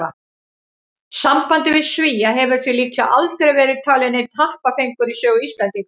Sambandið við Svía hefur því líklega aldrei verið talinn neinn happafengur í sögu Íslendinga.